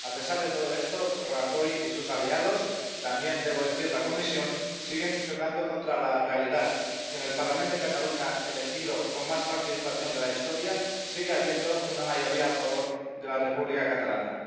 A pesar de todo esto, Rajoy y sus aliados —también debo decir la Comisión— siguen chocando contra la realidad que en el Parlament de Cataluña elegido con más participación de la historia sigue habiendo una mayoría a favor de la República Catalana.